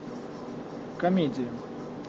комедия